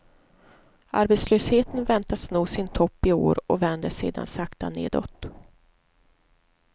Arbetslösheten väntas nå sin topp i år och vänder sedan sakta nedåt.